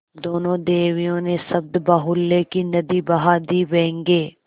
दोनों देवियों ने शब्दबाहुल्य की नदी बहा दी व्यंग्य